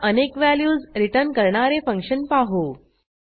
आता अनेक values return करणारे फंक्शन पाहू